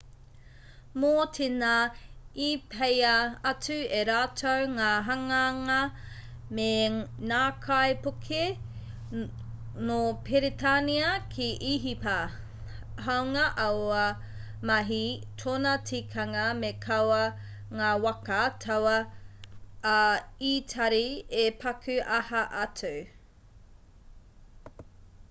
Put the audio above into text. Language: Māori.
mō tēnā i peia atu e rātou ngā hanganga me ngākaipuke nō peretānia ki īhipa hāunga aua mahi tōna tikanga me kaua ngā waka tauā a itari e paku aha atu